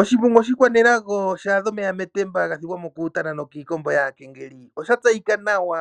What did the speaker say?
Oshimbungu oshikwanelago sha adha omeya metemba ga thigwamo kuutana nokiikombo yongula . Osha tseyika nawa